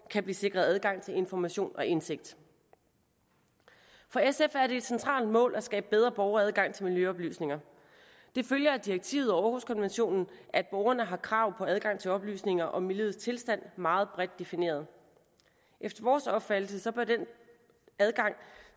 kan blive sikret adgang til information og indsigt for sf er det et centralt mål at skabe bedre borgeradgang til miljøoplysninger det følger af direktivet og århuskonventionen at borgerne har krav på adgang til oplysninger om miljøets tilstand meget bredt defineret efter vores opfattelse bør den adgang